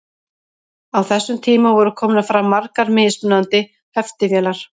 á þessum tíma voru komnar fram margar mismunandi heftivélar